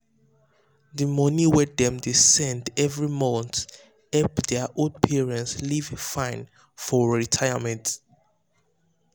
the money wey dem dey send every every month help their old parents live fine for retirement.